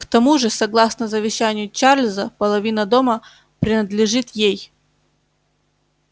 к тому же согласно завещанию чарлза половина дома принадлежит ей